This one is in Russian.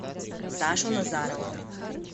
сашу назарова